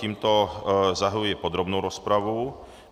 Tímto zahajuji podrobnou rozpravu.